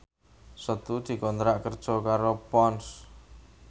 Setu dikontrak kerja karo Ponds